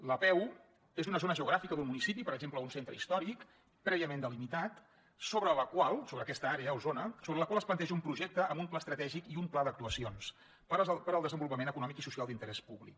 l’apeu és una zona geogràfica d’un municipi per exemple un centre històric prèviament delimitat sobre la qual sobre aquesta àrea o zona es planteja un projecte amb un pla estratègic i un pla d’actuacions per al desenvolupament econòmic i social d’interès públic